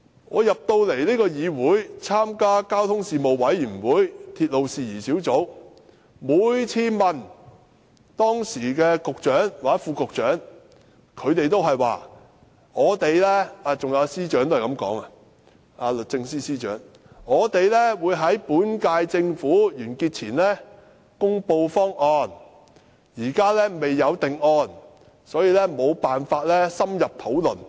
我進入立法會參加交通事務委員會及鐵路事宜小組委員會，每次向時任局長、副局長，還有律政司司長提問，他們都是說會在本屆政府完結前公布方案，暫時未有定案，所以無法深入討論。